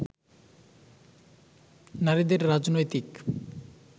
নারীদের রাজনৈতিক